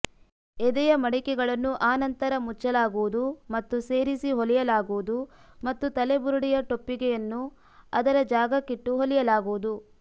ಎದೆಯ ಮಡಿಕೆಗಳನ್ನು ಆ ನಂತರ ಮುಚ್ಚಲಾಗುವುದು ಮತ್ತು ಸೇರಿಸಿ ಹೊಲಿಯಲಾಗುವುದು ಮತ್ತು ತಲೆ ಬುರುಡೆಯ ಟೊಪ್ಪಿಗೆಯನ್ನು ಅದರ ಜಾಗಕ್ಕಿಟ್ಟು ಹೊಲಿಯಲಾಗುವುದು